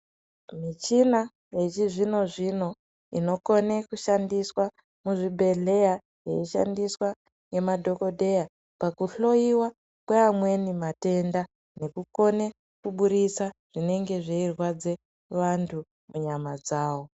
Michina yechizvino-zvino inokone kushandiswa muzvibhedhleya yeishandiswa ngemadhogodheya. Pakuhloiwa kweamweni matenda nekukone kuburitsa zvinenge zveirwadze vantu munyama dzavo.